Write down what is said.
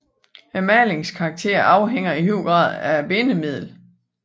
Malingens karakter afhænger i høj grad af bindemidlet